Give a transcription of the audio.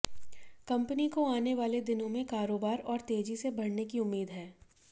company को आने वाले दिनों में कारोबार और तेजी से बढऩे की उम्मीद है